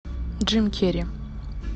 джим керри